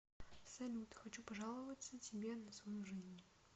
салют хочу пожаловаться тебе на свою жизнь